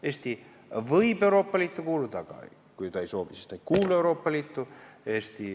Eesti võib Euroopa Liitu kuuluda, aga kui ta ei soovi, siis ta ei kuulu Euroopa Liitu.